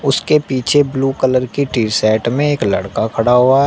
उसके पीछे blue colour की टी शर्ट में एक लड़का खड़ा हुआ है।